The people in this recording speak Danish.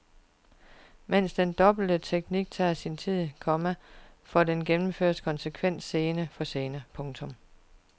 Men den dobbelte teknik tager sin tid, komma for den gennemføres konsekvent scene for scene. punktum